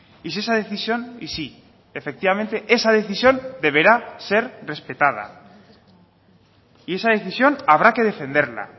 y si esa decisión y sí efectivamente esa decisión deberá ser respetada y esa decisión habrá que defenderla